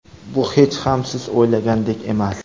Bu hech ham siz o‘ylagandek emas.